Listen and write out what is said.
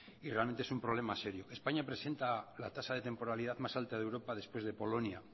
y realmente es un problema serio españa presente la tasa de temporalidad más alta de europa después de polonia